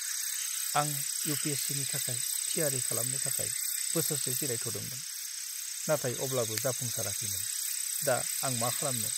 आं U. P. S. C. नि थाखाय थियारि खालामनो थाखाय बोसोरसे जिरायथ'दोंमोन, नाथाय अब्लाबो जाफुंसाराखैमोन। दा आं मा खालामनो?